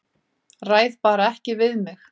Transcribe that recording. Ræð bara ekki við mig.